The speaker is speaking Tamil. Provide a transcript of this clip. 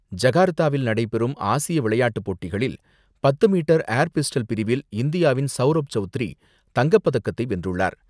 ஜகார்த்தாவில் நடைபெறும் ஆசிய விளையாட்டுப்போட்டிகளில் பத்து மீட்டர் ஏர் பிஸ்டல் பிரிவில் இந்தியாவின் சௌரப் சௌத்ரி தங்கப்பதக்கத்தை வென்றுள்ளார்.